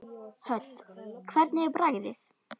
Hödd: Hvernig er bragðið?